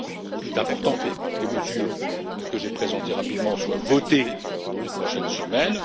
D'abord, il est important que les mesures que j'ai présentées rapidement soient votées dans les prochaines semaines.